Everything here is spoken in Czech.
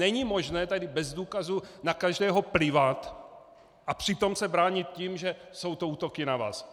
Není možné tady bez důkazů na každého plivat a přitom se bránit tím, že jsou to útoky na vás!